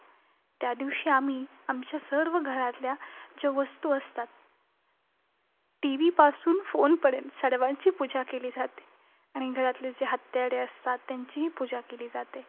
त्यादिवशी आम्ही आमच्या सर्व घरातल्या ज्या वस्तू असतात TV पासून phone पर्यंत सर्वांची पूजा केली जाते. आणि घरातली जी हत्यारे असतात त्यांचीही पूजा केली जाते.